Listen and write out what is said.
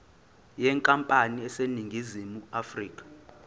yenkampani eseningizimu afrika